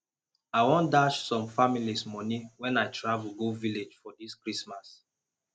i wan dash some families money wen i travel go village for dis christmas